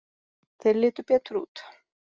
Þeir litu betur út.